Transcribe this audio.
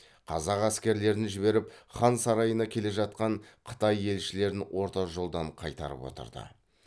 казак әскерлерін жіберіп хан сарайына келе жатқан қытай елшілерін орта жолдан қайтарып отырды